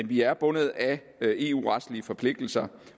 vi er bundet af eu retlige forpligtelser